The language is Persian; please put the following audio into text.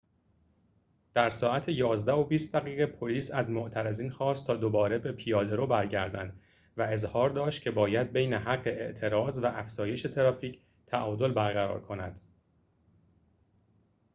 در ساعت ۱۱:۲۰ پلیس از معترضین خواست تا دوباره به پیاده‌رو برگردند و اظهار داشت که باید ببین حق اعتراض و افزایش ترافیک تعادل برقرار کند